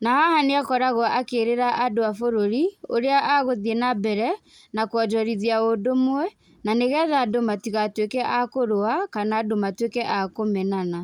Na haha nĩ akoragũo akĩrĩra andũ a bũrũri ũrĩa agũthiĩ nambere na kwonjorithia ũndũmwe na nĩgetha andũ matigatuĩke a kũrũa kana andũ matuĩke a kũmenana.